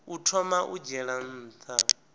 u thoma u dzhiela nha